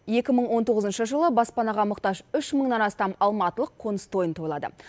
екі мың он тоғызыншы жылы баспанаға мұқтаж үш мыңнан астам алматылық қоныс тойын тойлады